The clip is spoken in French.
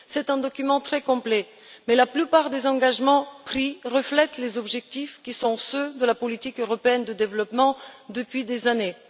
C'est un document très complet, mais la plupart des engagements pris reflètent des objectifs qui sont ceux de la politique européenne de développement depuis des années.